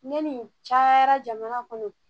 Ne ni ca jamana kɔnɔ